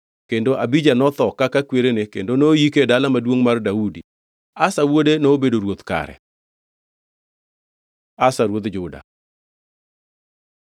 Kendo Abija notho kaka kwerene kendo noyike e Dala Maduongʼ mar Daudi. Asa wuode nobedo ruoth kare. Asa ruodh Juda